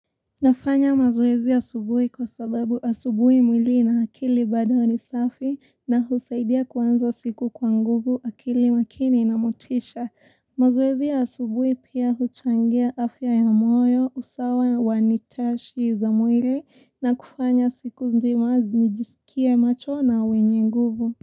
Nafanya mazoezi asubuhi kwa sababu asubuhi mwili na akili bada ni safi na husaidia kuanza siku kwa nguvu akili makini na motisha. Mazoezi ya asubuhi pia huchangia afya ya moyo, usawa na wanitashi za mwili na kufanya siku nzima nijisikie macho na wenye nguvu.